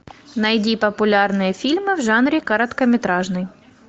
найди популярные фильмы в жанре короткометражный